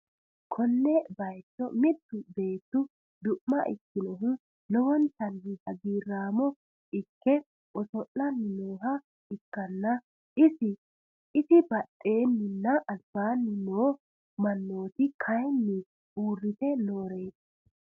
Konne bayicho mittu beetti du'ma ikkinohu lowontanni hagiiraamo ikke oso'lanni nooha ikkanna, isi badheenninna albaanni noo mannooti kayiinni uurrite nooreeti.